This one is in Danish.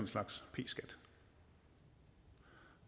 slags p skat